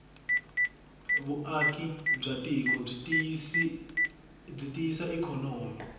vuvaki bwatiko bwitiyisa ikonomi